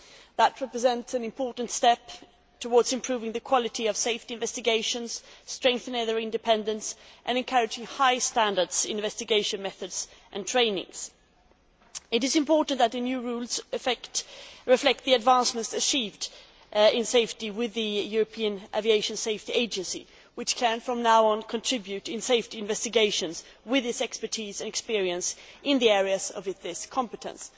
This represents an important step towards improving the quality of safety investigations, strengthening their independence and encouraging high standards in investigation methods and training. It is important that the new rules reflect the advances achieved in safety with the European Aviation Safety Agency which can, from now on, contribute to safety investigations with its expertise and experience in the areas of its competence.